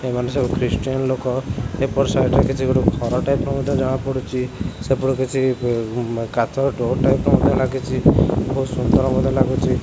ଏମାନେ ସବୁ ଖ୍ରୀଷ୍ଟିଆନ ଲୋକ ଏପଟ ସାଇଡ ରେ କିଛି ଗୋଟେ ଘର ଟାଇପ୍ ର ମଧ୍ୟ ଜଣା ପଡୁଚି ସେପଟୁ କିଛି ଏ ଉଁ କାଚ ଡୋର୍ ଟାଇପ୍ ର ମଧ୍ୟ ଲାଗିଚି ବହୁତ୍ ସୁନ୍ଦର ମଧ୍ୟ ଲାଗୁଚି।